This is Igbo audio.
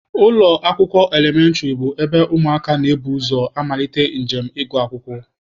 Ụlọ akwụkwọ elementịrị bụ ebe ụmụaka na-ebu ụzọ amalite njem ịgụ akwụkwọ